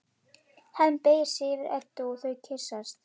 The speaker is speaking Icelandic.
Hemmi beygir sig yfir Eddu og þau kyssast.